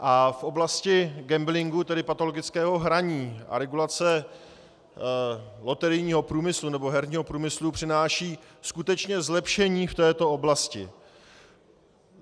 A v oblasti gamblingu, tedy patologického hraní, a regulace loterijního průmyslu, nebo herního průmyslu, přináší skutečně zlepšení v této oblasti.